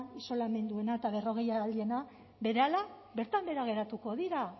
isolamenduena eta berrogeialdiena berehala bertan behera geratuko dira